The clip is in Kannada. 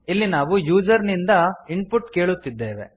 ಇಲ್ಲಿ ನಾವು ಯೂಸರ್ ಇಂದ ಇನ್ಪುಟ್ ಕೇಳುತ್ತಿದ್ದೇವೆ